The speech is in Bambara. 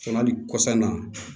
Sɔn ali kɔsan na